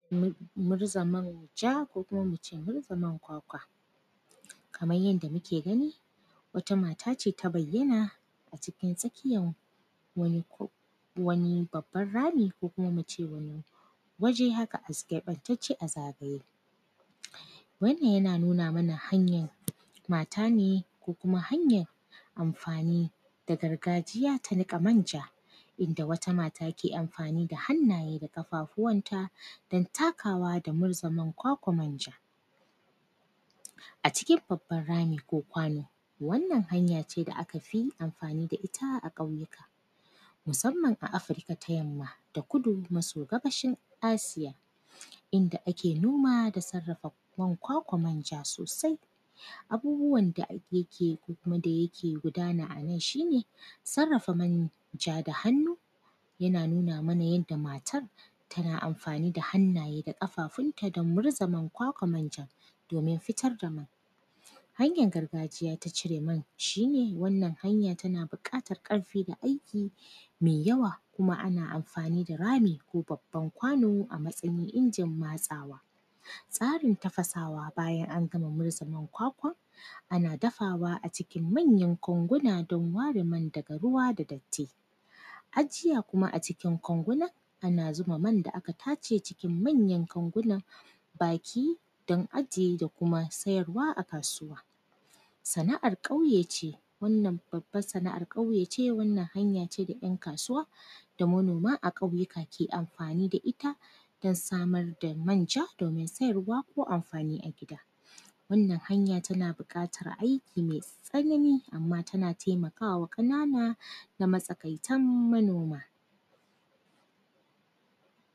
Mu; murz a manja ko kuma mu ce, murza man kwakwa. Kaman yanda muke gani, wata mata ce ta bayyana a cikin tsakiyan wani ko; wani babban rami ko kuma mu ce wani waje haka “as” keƃantacce a zagaye. Wannan, yana nuna mana hanyan mata ne ko kuma hanyan amfani da gargajiya ta niƙa manja, inda wata mata ke amfani da hannaye da ƙafafuwanta, dan takawa da murza man kwakwa manja a cikin babban rami ko kwano. Wannan, hanya ce da aka fi amfani da ita ƙauyuka, musamman a Afirika ta Yamma da Kudu Maso Gabashin Asiya, inda ake noma da sarrafa man kwakwa manja sosai. Abubuwan da a; yake ko kuma da yake gudana a nan, shi ne, sarrafa manja da hannu, yana nuna mana yadda matar, tana amfani da hannaye da ƙafafunta don murza man kwakwa manjan, domin fiyar da mai. Hanyan gargajiya ta cire man, shi ne, wannan hanya tana biƙatar ƙarfi da aiki me yawa. Kuma, ana amfani da rami ko babban kwano a matsayin injin matsawa. Tsarin tafasawa bayan an gama murza man kwakwa, ana dafawa a cikin manyan kwanguna don ware man daga ruwa da datti. Ajiya kuma a cikin kwanguna, ana zuba man da aka tace cikin manyan kanguna, baki, don ajiye da kuma sayarwa a kasuwa. Sana’ar ƙauye ce, wannan babbar sana’ar ƙauye ce, wannan hanya ce da ‘yan kasuwa da manoma a ƙauyika ke amfani da ita dan samar da manja, domin sayarwa ko amfani a gida. Wannan hanya, tana biƙatar aiki mai tsanani, amma tana temaka wa ƙanana na matsakaitan manoma.